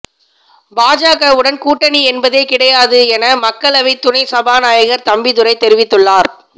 பாஜகவுடன் கூட்டணி என்பதே கிடையாது என மக்களவை துணை சபாநாயகர் தம்பிதுரை தெரிவித்துள்ளார்